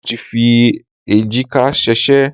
Mo ti fi èjìká sèsé